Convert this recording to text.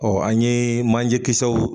an ye manjɛkisɛw